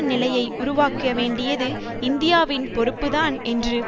நிலையை உருவாக்கவேண்டியது இந்தியாவின் பொறுப்புதான் என்று